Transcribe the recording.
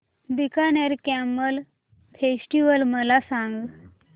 Bikaner camel festival मला सांग